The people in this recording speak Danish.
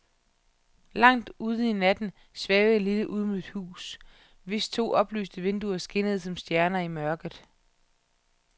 Langt ude i natten svævede et lille ydmygt hus, hvis to oplyste vinduer skinnede som stjerner i mørket.